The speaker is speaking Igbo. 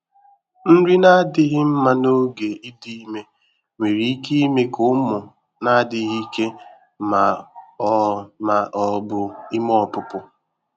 Nri na-adịghị mma n'oge idị ime nwere ike ime ka ụmụ na-adịghị ike ma ọ ma ọ bụ ime ọpụpụ.